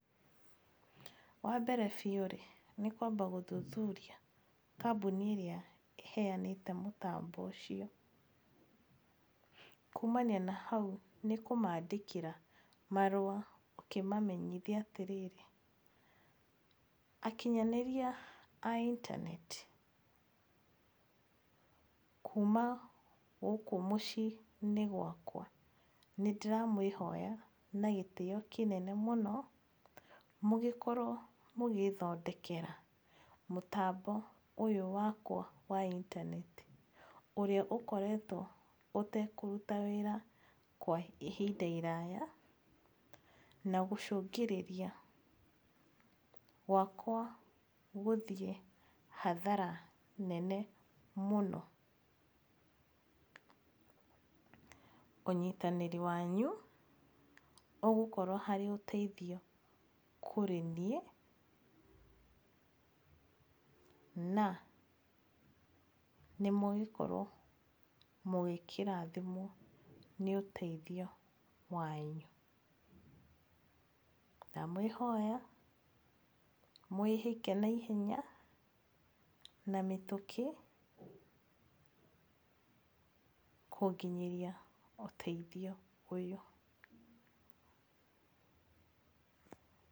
Wa mbere biũ rĩ nĩ kwamba gũthuthuria kambuni ĩrĩa ĩheanĩte mũtambo ũcio. Kumania na hau nĩ kũmaandĩkĩa marũa ũkĩmamenyithia atĩrĩrĩ, akinyanĩria a intaneti kuma gũkũ mũciĩ-inĩ wakwa nĩ ndĩramũĩhoya na gĩtĩo kĩnene mũno, mũgĩkorwo mũgĩthondekera mũtambo ũyũ wakwa wa intaneti ũrĩa ũkoretwo ũtekũruta wĩra kwa ihinda iraya na gũcũngĩrĩria gwakwa gũthiĩ hathara nene mũno. [pause} Ũnyitanĩru wanyu ũgũkorwo harĩ ũteithio kũrĩ niĩ na mũgũkorwo mũgĩkĩrathimwo nĩ ũteithio wanyu. Ndamwĩhoya mwĩhĩke naihenya na mĩtũkĩ kũnginyĩria ũteithio ũyũ.